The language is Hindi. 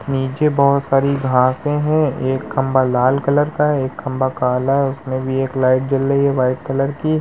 नीचे बहोत सारी घासें हैं। एक खम्बा लाल कलर का है। एक खम्बा काला है। उसमें भी एक लाइट जल रही है वाइट कलर की।